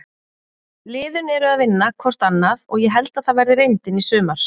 Liðin eru að vinna hvort annað og ég held að það verði reyndin í sumar.